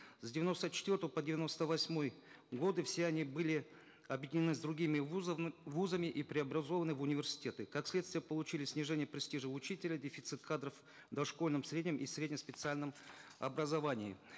с девяносто четвертого по девяносто восьмой годы все они были объединены с другими вузами и преобразованы в университеты как следствие получили снижение престижа учителя дефицит кадров в дошкольном среднем и средне специальном образовании